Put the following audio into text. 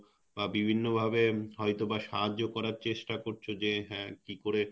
বা বিভিন্ন ভাবে হয়তো বা সাহায্য করার চেস্টা করছো যে হ্যাঁ কি করে,